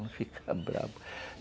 Ele fica bravo.